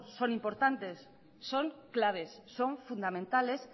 son importantes son claves son fundamentales